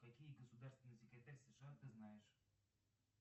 какие государственный секретарь сша ты знаешь